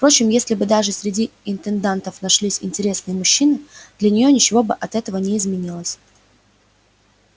впрочем если бы даже среди интендантов нашлись интересные мужчины для нее ничего бы от этого не изменилось